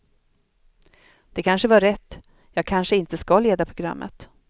Det kanske var rätt, jag kanske inte ska leda programmet.